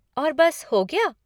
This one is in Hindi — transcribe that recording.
और बस हो गया?